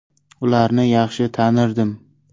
Ularni yaxshi tanirdim.